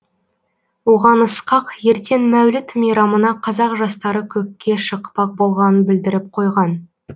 оған ысқақ ертең мәуліт мейрамына қазақ жастары көкке шықпақ болғанын білдіріп қойған